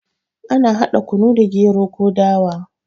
Ana hada kunu da gero ko dawa